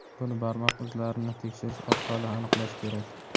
buni barmoq izlarini tekshirish orqali aniqlash kerak.